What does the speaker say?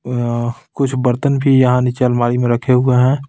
अअअ कुछ बर्तन भी यहाँ नीचे अलमारी में रखे हुए हैं.